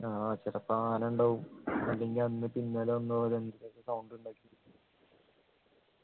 ആഹ് ചെലപ്പോ ആന ഉണ്ടാവും അല്ലെങ്കി അന്ന് പിന്നാലെ വന്നപോലെ